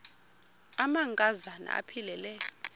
amanka zana aphilele